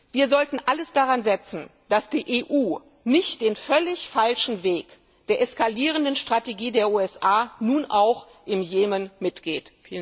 Wir sollten alles daran setzen, dass die EU nicht den völlig falschen Weg der eskalierenden Strategie der USA nun auch im Jemen mitgeht.